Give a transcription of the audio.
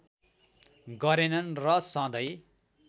गरेनन् र सधैँ